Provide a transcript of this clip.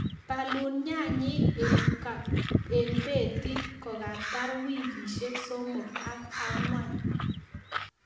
Bolun nyanyik en kabeti kokatar wikisiek somok ak ang'wan.